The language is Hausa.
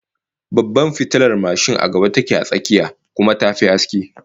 Babbar fitilar mashin a gaba take a tsakiyar, kuma ta fi haske